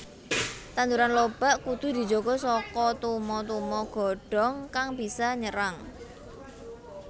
Tanduran lobak kudu dijaga saka tuma tuma godhong kang bisa nyerang